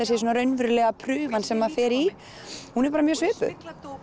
séu raunverulega prufan sem maður fer í hún er bara mjög svipuð